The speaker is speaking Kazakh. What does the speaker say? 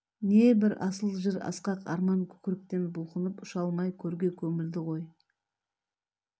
небір асыл жыр асқақ арман көкіректен бұлқынып ұша алмай көрге көмілді ғой